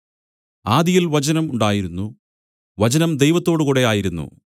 ആദിയിൽ വചനം ഉണ്ടായിരുന്നു വചനം ദൈവത്തോടുകൂടെ ആയിരുന്നു വചനം ദൈവം ആയിരുന്നു